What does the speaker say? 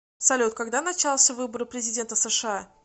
салют когда начался выборы президента сша